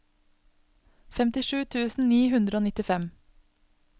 femtisju tusen ni hundre og nittifem